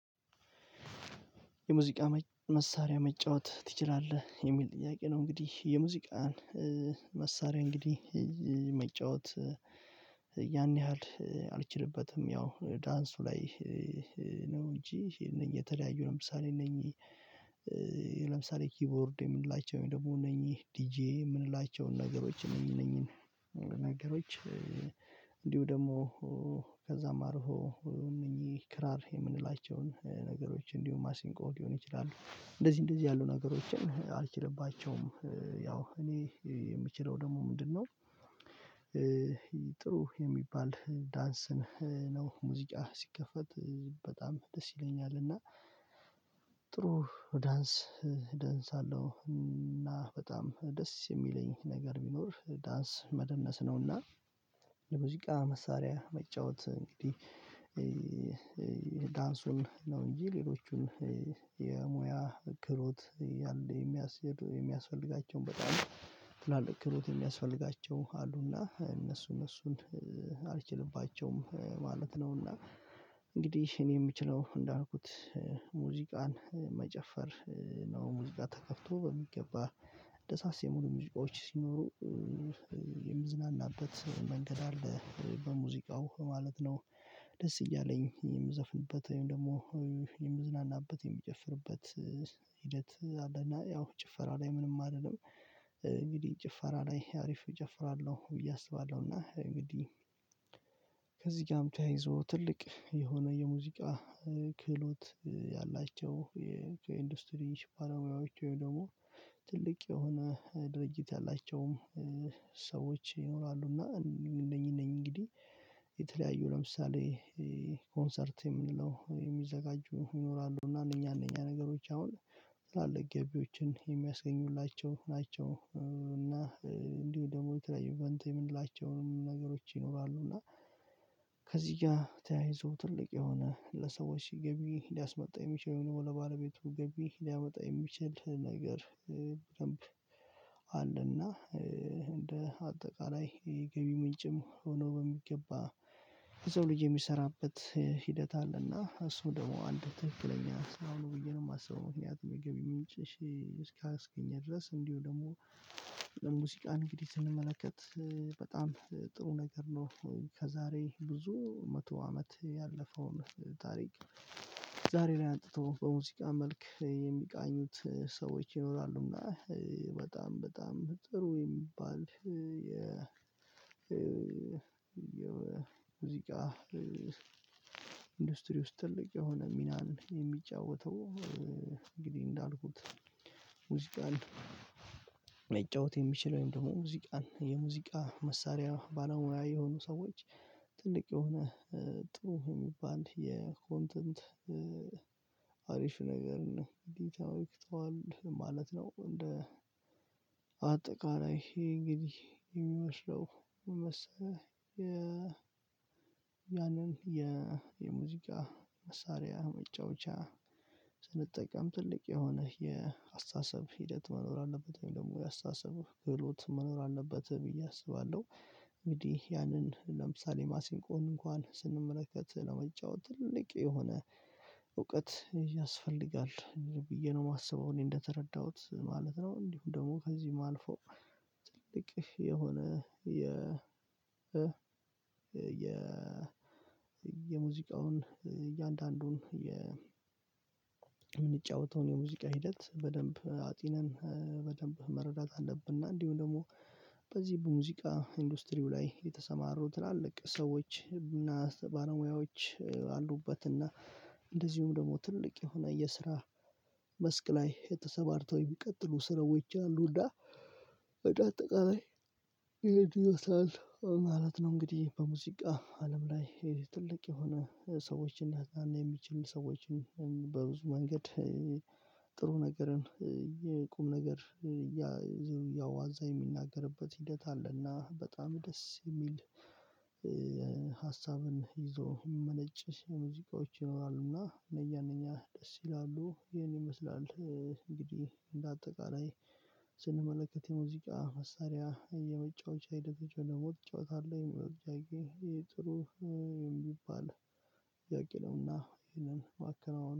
የሙዚቃ መሳሪያ መጫወት ትችላለህ የሚል ጥያቄ ነው? እንግዲህ የሙዚቃን መሳርያ እንግዲህ መጫወት ያን ያህል አልችልበትም ያው ላይ ነው። እንጂ እነዚህ የተለያዩ ለምሳሌ እነኚህ ለምሳሌ ኪቦርድ የምንላቸው ደግሞ እነኚህ ዲጄ የምንላቸውን ነገሮች እነኚህ እነኚህ ነገሮች እንዲሁ ደግሞ ከዛም አልፎ እነኚህ ክራር የምንላቸውን ነገሮች እንዲሁም ማሲንቆ ሊሆን ይችላል እንደዚህ እንደዚህ ያሉ ነገሮችን አልችልባቸውም። ያው እኔ የምችለው ደግሞ ምንድነው? ጥሩ የሚባል ዳንስን ነው ሙዚቃ ሲከፈት በጣም ደስ ይለኛል። እና ጥሩ ዳንስ እደንሳለሁ እና በጣም ደስ የሚለኝ ነገር ቢኖር ዳንስ መደነስ ነውና። የሙዚቃ መሳሪያ መጫወት እንግዲህ ዳንሱን ነው እንጂ ሌሎቹን የሙያ ክህሎት ያለ የሚያኬድ የሚያስፈልጋቸውን በጣም ትላልቅ ክህሎት የሚያስፈልጋቸው አሉና እነሱን እነሱን አልችልባቸውም ማለት ነውና። እንግዲህ እኔ የምችለው እንዳልኩት ሙዚቃን መጨፈር ነው ሙዚቃ ተከፍቶ በሚገባ ደሳስ የሚሉ ሙዚቃዎች ሲኖሩ የምዝናናበት መንገድ አለ በሙዚቃው ማለት ነው። ደስ እያለኝ የምዘፍንበት ወይም ደግሞ የምዝናናበት የምጨፍርበት ሂደት አለና ያው ጭፈራ ላይ ምንም አልልለም። እንግዲህ ጭፈራ ላይ አሪፍ እጨፍራለሁ ብዬ አስባለሁና እንግዲህ ከዚህ ጋርም ተያይዞ ትልቅ የሆነ የሙዚቃ ክህሎት ያላቸው የኢንዱስትሪ ባለሙያዎች ወይም ደግሞ ትልቅ የሆነ ድርጅት አላቸውም። ሰዎች ይኖራሉ እና እነኚህ እነኚህ እንግዲህ የተለያዩ ለምሳሌ ኮንሰርት የምንለው የሚዘጋጁ ይኖራሉ እና እኛ እኛ ነገሮች አሁን ትላልቅ ገቢዎችን የሚያስገኙላቸው ናቸው። እና እንዲሁ ደግሞ የተለያዩ በንት የምንላቸውንም ነገሮች ይኖራሉ እና ከዚህ ጋር ተያይዞ ትልቅ የሆነ ለሰዎች ገቢ ሊያስመጣ የሚችለው ነው ለባለቤቱ ገቢ ሊያመጣ የሚችል ነገር በደንብ አለና። እንደ አጠቃላይ የገቢ ምንጭም ሆኖ በሚገባ የሰው ልጅ የሚሰራበት ሂደት አለና እሱም ደግሞ አንድ ትክክለኛ ስራ ነው ብዬ ነው የማስበው። ምክንያቱም የገቢ ምንጭ እስካስገኘ ድረስ እንዲሁ ደግሞ ለሙዚቃ እንግዲህ ስንመለከት በጣም ጥሩ ነገር ነው። ከዛሬ ብዙ መቶ አመት ያለፈውን ታሪክ ዛሬ ላይ አጥንቶ በሙዚቃ መልክ የሚቃኙት ሰዎች ይኖራሉና። በጣም በጣም ጥሩ የሚባል የ የሙዚቃ ኢንዱስትሪ ውስጥ ትልቅ የሆነ ሚናን የሚጫወተው እንግዲህ እንዳልኩት ሙዚቃን ሊጫወት የሚችለውን ደግሞ ሙዚቃን የሙዚቃ መሳሪያ ባለሙያ የሆኑ ሰዎች ትልቅ የሆነ ጥሩ የሚባል የኮንተንት አሪፍ ነገርን እንዴት ትመልክተዋለህ? ማለት ነው። እንደ አጠቃላይ ይሄ እንግዲህ የሚመስለው ምን መሰለህ ያንን የሙዚቃ መሳሪያ መጫወቻ ስንጠቀም ትልቅ የሆነ የአስተሳሰብ ሂደት መኖር አለበት ወይም ደግሞ የአስተሳሰብ ክህሎት መኖር አለበት ብዬ አስባለሁ። እንግዲህ ያንን ለምሳሌ ማሲንቆን እንኳን ስንመለከት ለመጫወት ትልቅ የሆነ እውቀት ያስፈልጋል ብዬ ነው የማስበው እኔ እንደተረዳሁት ማለት ነው። እንዲሁም ደግሞ ከዚህም አልፎ ትልቅ የሆነ የ የ የሙዚቃውን እያንዳንዱን የምንጫወተው የሙዚቃ ሂደት በደንብ አጢነን በደንብ መረዳት አለብንና። እንዲሁም ደግሞ በዚህ በሙዚቃ ኢንዱስትሪው ላይ የተሰማሩ ትላልቅ ሰዎች እና ባለሙያዎች አሉበት። እና እንደዚሁም ደግሞ ትልቅ የሆነ የስራ መስክ ላይ ተሰማርተው ቢቀጥሉ ስራዎች አሉ። እንደአጠቃላይ ይሄን ይመስላል ማለት ነው። እንግዲህ በሙዚቃ አለም ላይ ትልቅ የሆነ ሰዎችን የሚችል ሰዎችን በብዙ መንገድ ጥሩ ነገርን የቁም ነገር ያ ዝሩያው አዛ የሚናገርበት ሂደት አለና በጣም ደስ የሚል። ሀሳብን ይዞ የሚመነጭ የሙዚቃዎች ይኖራሉና እነኛ እነኛ ደስ ይላሉ ይሄን ይመስላል። እንግዲህ እንደ አጠቃላይ ስንመለከት የሙዚቃ መሳሪያ የመጫወቻ ሂደቶች ወይም ደግሞ ትጫወታለህ አለህ የሚለው ጥያቄ ይሄ ጥሩ የሚባል ጥያቄ ነውና ይሄንን ማከናውን